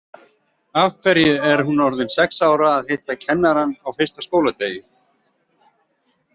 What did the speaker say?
Af hverju er hún orðin sex ára að hitta kennarann á fyrsta skóladegi?